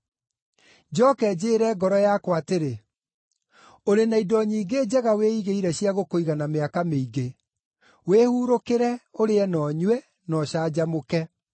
Njooke njĩĩre ngoro yakwa atĩrĩ, “Ũrĩ na indo nyingĩ njega wĩigĩire cia gũkũigana mĩaka mĩingĩ. Wĩhuurũkĩre, ũrĩe na ũnyue, na ũcanjamũke.” ’